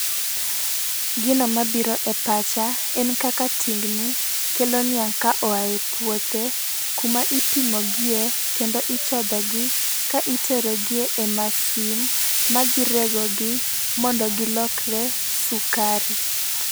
Gino mabiro e pacha en kaka tingni kelo niang' ka ohae puothe, kuma ipimogie kendo ichodho gi ka itero gi e masin ma dhi regogi mondo gilokre sukari.